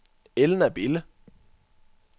Elna Bille